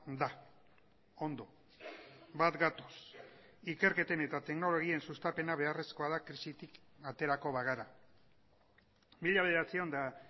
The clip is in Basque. da ondo bat gatoz ikerketen eta teknologien sustapena beharrezkoa da krisitik aterako bagara mila bederatziehun eta